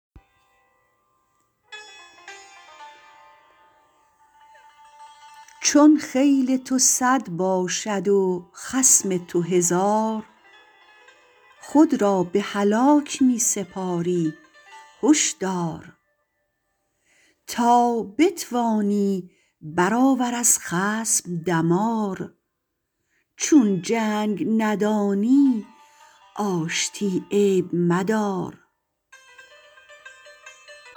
چون خیل تو صد باشد و خصم تو هزار خود را به هلاک می سپاری هش دار تا بتوانی برآور از خصم دمار چون جنگ ندانی آشتی عیب مدار